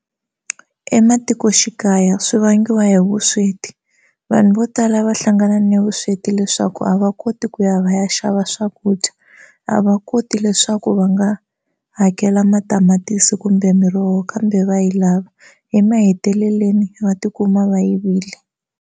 Ematikoxikaya swi vangiwa hi vusweti vanhu vo tala va hlangana na vusweti leswaku a va koti ku ya va ya xava swakudya a va koti leswaku va nga hakela matamatisi kumbe miroho kambe va yi lava emahetelelweni va tikuma va yivile.